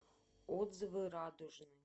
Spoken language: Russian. отзывы радужный